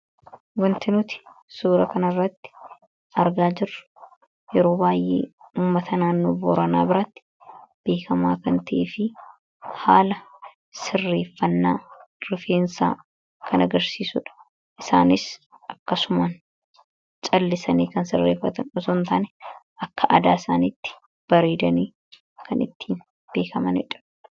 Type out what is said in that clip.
wantinuti suura kan irratti argaa jirru yeroo baay'ee ummatanaannu booranaa biraatti beekamaa kan tie fi haala sirreeffannaa rifeensaa kangarsiisuudha isaanis akkasuman callisanii kan sirreeffatan utuntaan akka adaa isaanitti bareedanii kan ittiin beekamandha